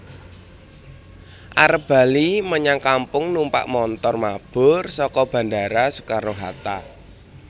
Arep bali menyang kampung numpak montor mabur soko Bandara Soekarno Hatta